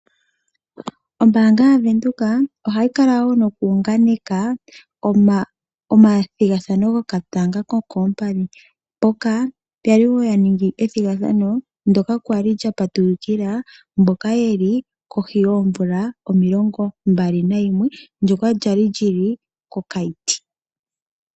Ombaanga yaVenduka ohayi kala wo nokuunganeka omathigathano gokatanga kokoompadhi. Oya li ya ningi ethigathano ndyoka lya li lya patulukila mboka ye li kohi yoomvula omilongombali nayimwe, ndyoka lya li lyi li kOkaiti.